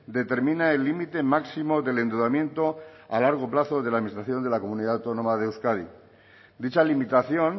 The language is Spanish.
determina el límite máximo del endeudamiento a largo plazo de la administración de la comunidad autónoma de euskadi dicha limitación